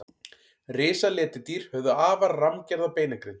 risaletidýr höfðu afar rammgerða beinagrind